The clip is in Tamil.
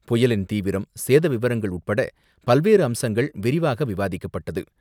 புயலின் தீவிரம், சேத விவரங்கள் உட்பட பல்வேறு அம்சங்கள் விரிவாக விவாதிக்கப்பட்டது.